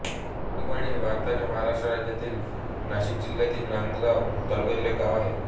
परेकरवाडी हे भारताच्या महाराष्ट्र राज्यातील नाशिक जिल्ह्यातील नांदगाव तालुक्यातील एक गाव आहे